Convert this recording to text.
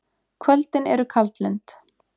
Kvöldin eru kaldlynd.